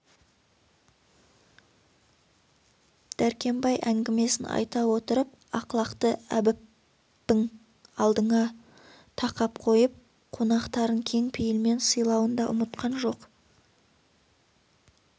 дәркембай әңгімесін айта отырып ақлақты әбіппің алдына тақап қойып қонақтарын кең пейілмен сыйлауын да ұмытқан жоқ